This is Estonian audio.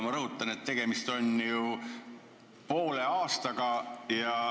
Ma rõhutan, et tegemist on poole aastaga.